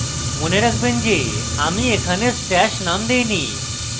মনে রাখবেন যে আমি এখানে stash name দেইনি